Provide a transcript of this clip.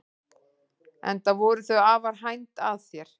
Enda voru þau afar hænd að þér.